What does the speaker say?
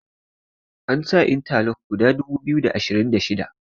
an sa inta lok guda dubu biyu da ashirin da shida